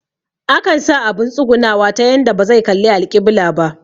Akan sa abun tsugunawa ta yanda bazai kalli alƙibila ba